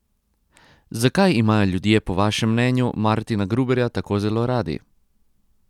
Zakaj imajo ljudje po vašem mnenju Martina Gruberja tako zelo radi?